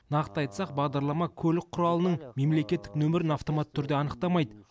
нақты айтсақ бағдарлама көлік құралының мемлекеттік нөмірін автоматты түрде анықтамайды